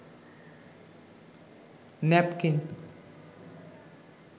napkin